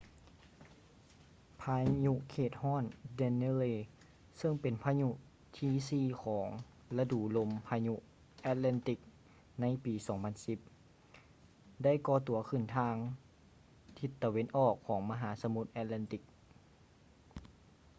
ພາຍຸເຂດຮ້ອນ danielle ເຊິ່ງເປັນພາຍຸຫົວທີສີ່ຂອງລະດູລົມພາຍຸ atlantic ໃນປີ 2010 ໄດ້ກໍ່ຕົວຂຶ້ນທາງທິດຕາເວັນອອກຂອງມະຫາສະໝຸດ atlantic